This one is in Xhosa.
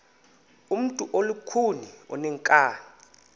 ngumntu olukhuni oneenkani